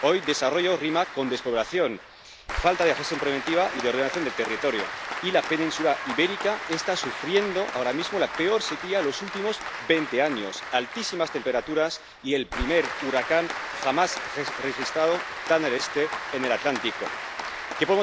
Hoy desarrollo rima con despoblación, falta de gestión preventiva y de ordenación del territorio, y la Península Ibérica está sufriendo ahora mismo la peor sequía de los últimos veinte años ¿Qué